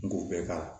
N ku bɛ k'a la